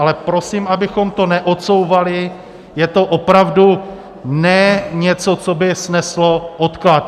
Ale prosím, abychom to neodsouvali, je to opravdu ne něco, co by sneslo odklad.